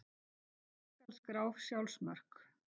Hvernig skal skrá sjálfsmörk?